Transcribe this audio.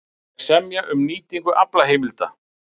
Vilja semja um nýtingu aflaheimilda